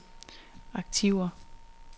aktiver